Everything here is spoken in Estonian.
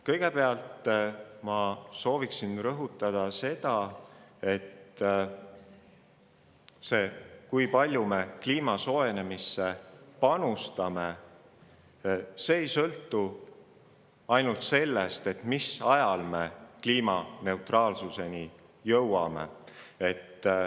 Kõigepealt ma sooviksin rõhutada seda, et see, kui palju me kliima soojenemisse panustame, ei sõltu ainult sellest, mis ajal me kliimaneutraalsuseni jõuame.